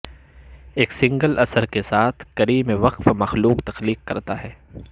ایک سنگل اثر کے ساتھ کریم وقف مخلوق تخلیق کرتا ہے